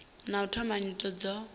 na u thoma nyito dzo